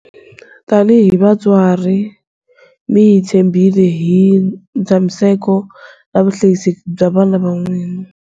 Tanihi vatswari, mi hi tshembhile hi ntshamiseko na vuhlayiseki bya vana va n'wina.